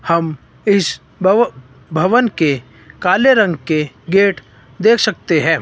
हम इस भव भवन के काले रंग के गेट देख सकते हैं।